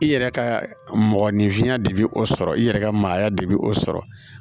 I yɛrɛ ka mɔgɔninfinya de bɛ o sɔrɔ i yɛrɛ ka maaya de bɛ o sɔrɔ